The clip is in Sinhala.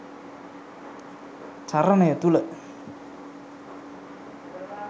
චරණය තුළ